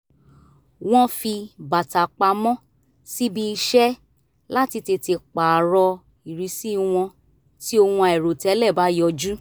wọ́n fi bàtà pamọ́ síbi iṣẹ́ láti tètè pààrọ̀ ìrísí wọn tí ohun àìròtẹ́lẹ̀ bá yọjú